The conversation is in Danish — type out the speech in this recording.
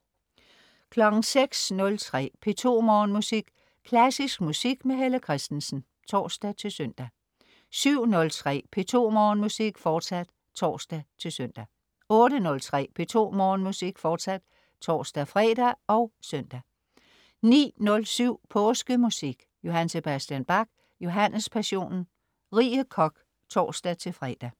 06.03 P2 Morgenmusik. Klassisk musik med Helle Kristensen (tors-søn) 07.03 P2 Morgenmusik. Forsat (tors-søn) 08.03 P2 Morgenmusik. Forsat (tors-fre og søn) 09.07 Påskemusik. J.S. Bach: Johannespassionen. Rie Koch (tors-fre)